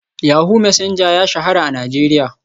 Yahoo Messenger ya shahara a Najeriya.